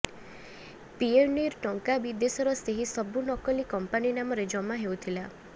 ପିଏନ୍ବିର ଟଙ୍କା ବିଦେଶର ସେହି ସବୁ ନକଲି କମ୍ପାନୀ ନାମରେ ଜମା ହେଉଥିଲା